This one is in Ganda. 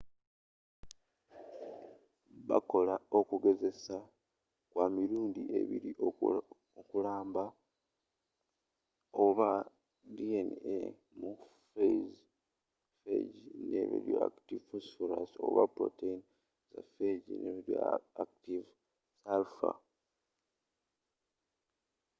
bakola okugezesa kwa mirundi ebiri okulamba oba dna mu phage ne radioactive phosphorus oba protein za phage ne radioactive sulfur